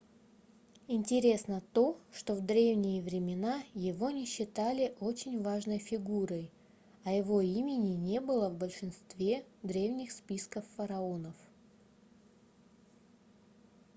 интересно то что в древние времена его не считали очень важной фигурой а его имени не было в большинстве древних списков фараонов